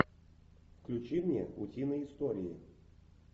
включи мне утиные истории